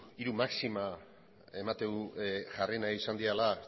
hiru maxima ematen du jarri nahi izan direla